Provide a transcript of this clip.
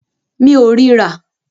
Mi ò rí rà.